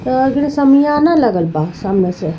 अ अगरे शमियाना लगल बा सामने से।